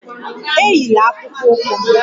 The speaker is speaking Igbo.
Eyila akpụkpọ ụkwụ m!